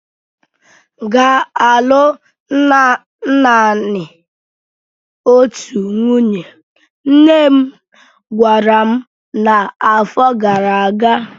Ị ga-alụ naanị otu nwunye! nne m gwara m na afo gara aga.